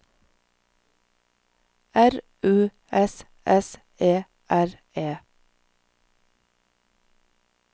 R U S S E R E